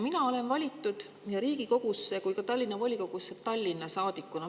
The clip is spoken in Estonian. Mina olen valitud nii Riigikogusse kui ka Tallinna volikogusse Tallinna saadikuna.